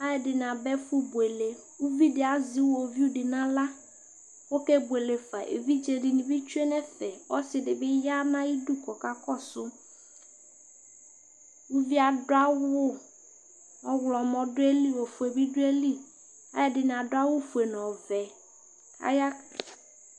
alʊɛdɩnɩ aba kebuele, uvidɩ azɛ iwoviu dɩ n'aɣla kʊ okebuele fa, evidzedɩnɩ bɩ tsue nʊ ɛfɛ, ɔsɩdɩ bɩ ya nʊ ayidu kʊ ɔkakɔsʊ, uvi yɛ adʊ awʊ kʊ ɔwlɔmɔ dʊ ayili, ofue bɩ dʊ ayili, alʊɛdɩnɩ adʊ awʊfue nʊ ɔvɛ